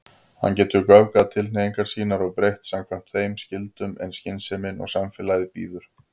Hann getur göfgað tilhneigingar sínar og breytt samkvæmt þeim skyldum sem skynsemin og samfélagið býður.